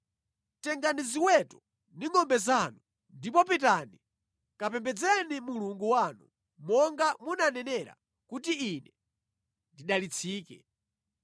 Tengani ziweto ndi ngʼombe zanu ndipo pitani kapembedzeni Mulungu wanu monga munanenera kuti ine ndidalitsike.”